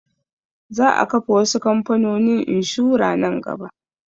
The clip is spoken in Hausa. Za a kafa wasu kamfanonin inshura nan gaba